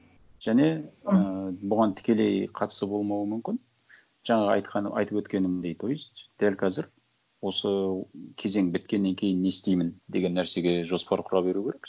және ыыы бұған тікелей қатысы болмауы мүмкін жаңағы айтқан айтып өткенімдей то есть дәл қазір осы кезең біткеннен кейін не істеймін деген нәрсеге жоспар құра беру керек